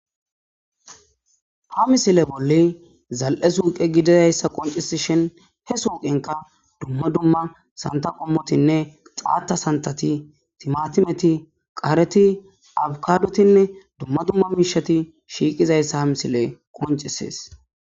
Ha missile bolla zal'e suuqe gididaysa qoncisishin he suuqenka dumma dumma santha qommotinne xaata santhati, tiimatimeti, qaareti, abkadotinne dumma dumma miishati shiiqizaysa ha missiley qoncisees.